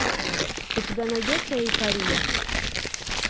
у тебя найдется эйфория